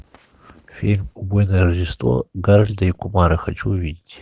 фильм убойное рождество гарольда и кумара хочу увидеть